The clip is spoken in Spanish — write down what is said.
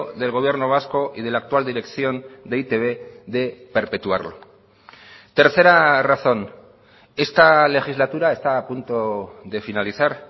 del gobierno vasco y de la actual dirección de e i te be de perpetuarlo tercera razón esta legislatura está a punto de finalizar